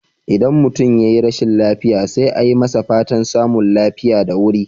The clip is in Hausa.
Idan mutum yayi rashin lafiya, sai a yi masa fatan samun lafiya da wuri.